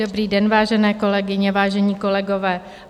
Dobrý den, vážené kolegyně, vážení kolegové.